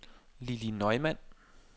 Lilli Neumann